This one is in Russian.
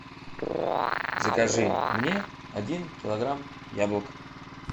закажи мне один килограмм яблок